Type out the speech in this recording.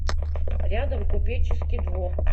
рядом купеческий двор